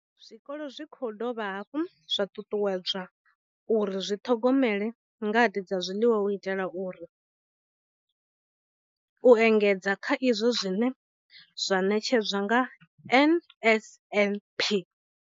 Zwikolo zwi khou dovha hafhu zwa ṱuṱuwedzwa uri zwi ḓithomele ngade dza zwiḽiwa u itela uri u engedza kha izwo zwine zwa ṋetshedzwa nga NSNP.